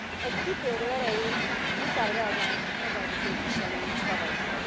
Egy kitérő erejéig muszáj reagálnom Tabajdi képviselő úr szavaira.